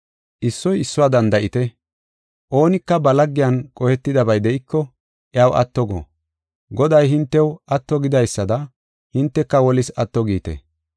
Issoy issuwa danda7ite. Oonika ba laggiyan qohetidabay de7iko iyaw atto go. Goday hintew atto gidaysada hinteka wolis atto giite.